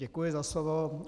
Děkuji za slovo.